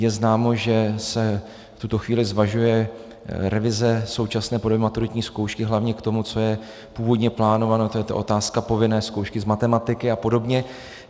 Je známo, že se v tuto chvíli zvažuje revize současné podoby maturitní zkoušky, hlavně k tomu, co je původně plánováno, to je ta otázka povinné zkoušky z matematiky a podobně.